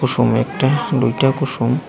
kosom ekta dui ta kosom.